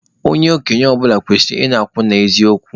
Onye okenye ọbụla kwesịrị ị na-akwụ n'eziokwu